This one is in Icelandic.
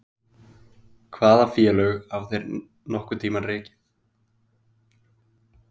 Hvaða félög hafa þeir nokkurn tíma rekið?